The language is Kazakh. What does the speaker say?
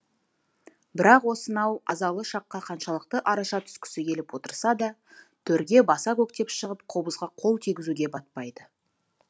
бірақ осынау азалы шаққа қаншалықты араша түскісі келіп отырса да төрге баса көктеп шығып қобызға қол тигізуге батпайды